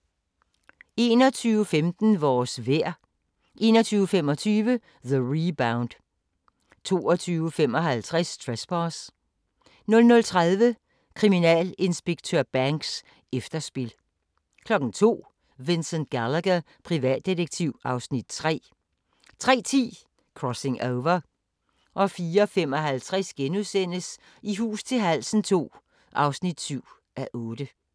21:15: Vores vejr 21:25: The Rebound 22:55: Trespass 00:30: Kriminalinspektør Banks: Efterspil 02:00: Vincent Gallagher, privatdetektiv (Afs. 3) 03:10: Crossing Over 04:55: I hus til halsen II (7:8)*